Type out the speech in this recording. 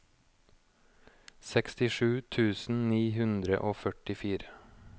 sekstisju tusen ni hundre og førtifire